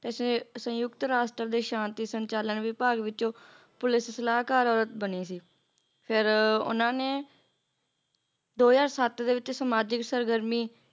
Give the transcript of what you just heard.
ਤੇ ਸ ਸੰਯੁਕਤ ਰਾਸ਼ਟਰ ਦੇ ਸ਼ਾਂਤੀ ਸੰਚਾਲਨ ਵਿਭਾਗ ਵਿੱਚੋਂ ਪੁਲਿਸ ਸਲਾਹਕਾਰ ਔਰਤ ਬਣੀ ਸੀ ਦੋ ਹਜ਼ਾਰ ਸੱਤ ਦੇ ਵਿੱਚ ਸਮਾਜਿਕ ਸਰਗਰਮੀ